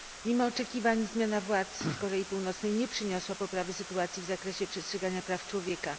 Mimo oczekiwań zmiana władz w Korei Północnej nie przyniosła poprawy sytuacji w zakresie przestrzegania praw człowieka.